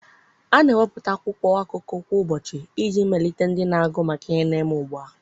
A na-ewepụta akwụkwọ akụkọ kwa ụbọchị iji melite ndị na-agụ maka ihe na-eme ugbu a.